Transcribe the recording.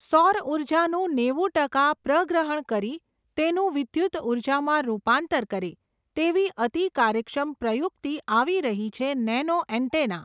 સૌર ઊર્જાનું નેવુઁ ટકા પ્રગ્રહણ કરી, તેનું વિદ્યુત ઊર્જામાં રૂપાંતર કરે, તેવી અતિ કાર્યક્ષમ પ્રયુક્તિ આવી રહી છે નેનોએન્ટેના.